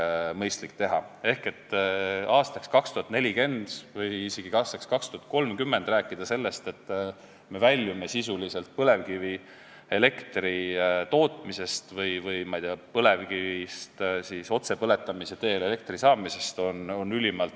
Ehk on ülimalt realistlik rääkida, et aastaks 2040 või isegi aastaks 2030 me oleme sisuliselt väljunud põlevkivielektri tootmisest või põlevkivist otsepõletamise teel elektri saamisest.